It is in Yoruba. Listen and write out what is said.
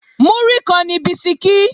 Múrí kan ni bisikí